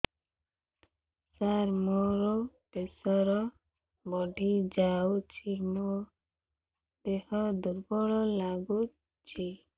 ସାର ମୋର ପ୍ରେସର ବଢ଼ିଯାଇଛି ମୋ ଦିହ ଦୁର୍ବଳ ଲାଗୁଚି